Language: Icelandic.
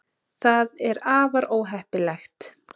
það er afar óheppilegt